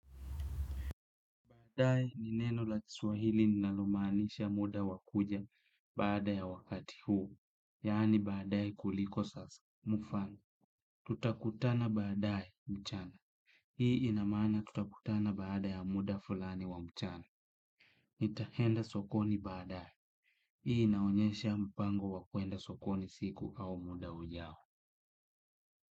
Baadae ni neno la kiswahili linalomaanisha muda wakuja baada ya wakati huu. Yani baadae kuliko sasa. Mfano, tutakutana baadae mchana. Hii inamaana tutakutana baada ya muda fulani wa mchana. Nitaenda sokoni baadae. Hii inaonyesha mpango wakwenda sokoni siku au muda ujao.